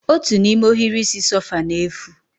Otu n'ime ohiri isi sofa na-efu